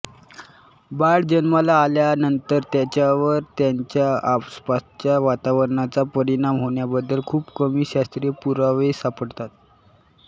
बाळ जन्माला आल्या नंतर त्याच्यावर त्याच्या आसपासच्या वातावरणाचा परिणाम होण्याबद्दल खुप कमी शास्त्रीय पुरावे सापडतात